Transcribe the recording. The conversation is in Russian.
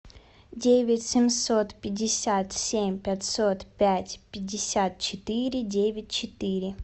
девять семьсот пятьдесят семь пятьсот пять пятьдесят четыре девять четыре